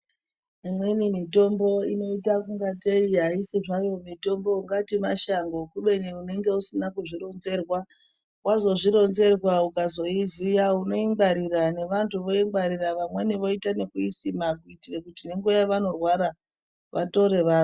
Imweni mitombo inoita kungateyi mashango kubeni unenge usina kuzvironzerwa wazvo zvironzerwa ukazoiziya uno yingwarira nevantu vamweni voyi ngwarira vamweni voita noyisima kuitira kuti vorwara vatore vamwe.